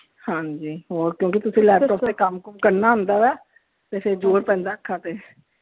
ਹਾਂਜੀ, ਹੋਰ ਕਿਉਂਕਿ ਤੁਸੀਂ laptop ਤੇ ਕੰਮ ਕੁੰਮ ਕਰਨਾ ਹੁੰਦਾ ਵਾ, ਤੇ ਫਿਰ ਜ਼ੋਰ ਪੈਂਦਾ ਹੈ ਅੱਖਾਂ ਤੇ।